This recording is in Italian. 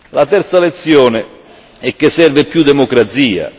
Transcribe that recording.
La terza lezione è che serve più democrazia.